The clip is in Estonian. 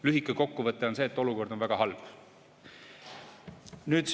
Lühike kokkuvõte on see, et olukord on väga halb.